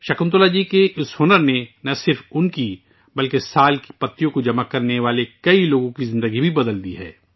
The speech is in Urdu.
شکنتلا جی کے اس ہنر نے نہ صرف ان کی بلکہ سال کے پتے جمع کرنے والے بہت سے لوگوں کی زندگی اں بدل دی ہیں